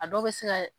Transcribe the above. A dɔw bɛ se ka